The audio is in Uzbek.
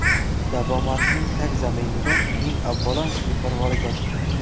Davomatning tagzaminida, eng avvalo, beparvolik yotibdi.